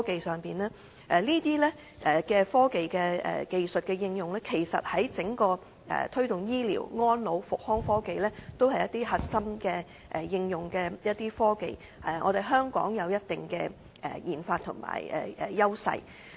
這些科技技術的應用，在推動醫療、安老及復康科技上，都是一些核心應用的科技，而香港有一定的研發優勢。